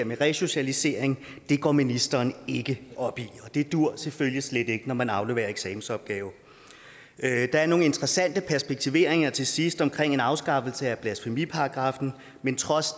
med resocialisering går ministeren ikke op i og det duer selvfølgelig slet ikke når man afleverer en eksamensopgave der er nogle interessante perspektiveringer til sidst om en afskaffelse af blasfemiparagraffen men trods